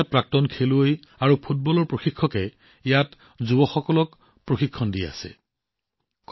বহু ডাঙৰ প্ৰাক্তন ফুটবল খেলুৱৈ আৰু প্ৰশিক্ষকে আজি ইয়াত যুৱকযুৱতীসকলক প্ৰশিক্ষণ দি আছে